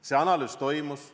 See analüüs toimus.